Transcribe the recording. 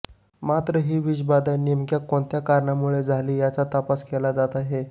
मात्र ही विषबाधा नेमक्या कोणत्या कारणामुळे झाली याचा तपास केला जात आहे